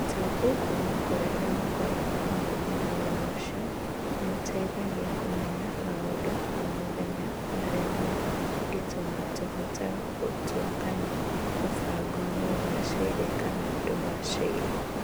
Ũtaũku kuuma kũrĩ arĩa makoragwo hakuhĩ na wĩra ũcio nĩ ũtũteithagia kũmenya maũndũ ma o mũthenya marĩa mangĩtũma tũhote gũtua kana mũbango nĩ ũgaacĩra kana ndũgaacĩre.